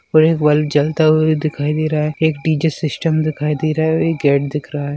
एक बल्ब जलता हुआ दिखाई दे रहा है एक टीचर सिस्टम दिखाई दे रहा है और एक गेट दिख रहा है।